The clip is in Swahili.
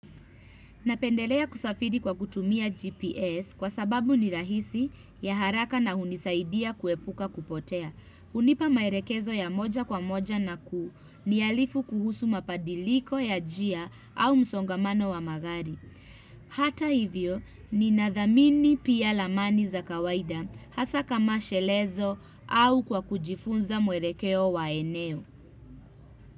Napendelea kusafiri kwa kutumia GPS kwa sababu ni rahisi ya haraka na hunisaidia kuepuka kupotea. Hunipa maelekezo ya moja kwa moja na kuniarifu kuhusu mabadiliko ya njia au msongamano wa magari. Hata hivyo ninathamini pia ramani za kawaida hasa kama shelezo au kwa kujifunza mwelekeo wa eneo.